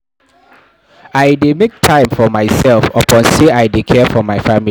I dey make time for mysef upon sey I dey care for my family.